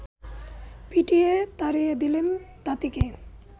পিটিয়ে তাড়িয়ে দিলেন তাঁতিকে